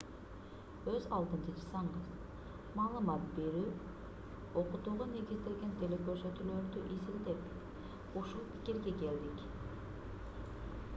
өз алдынча жасаңыз маалымат берүү окутууга негизделген телекөрсөтүүлөрдү изилдеп ушул пикирге келдик